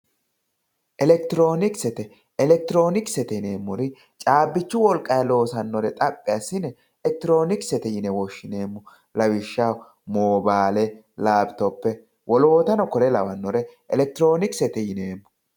elektiroonikisete elektiroonikisete yineemori caabbichu wolqayi loosannore xaphi assine elektironiksete yine woshshineemo lawishshaho moobaale lapitope wolootano kore lawannore elektiroonikisete yineemo.